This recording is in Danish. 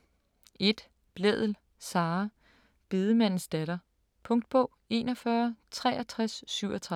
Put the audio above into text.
1. Blædel, Sara: Bedemandens datter Punktbog 416337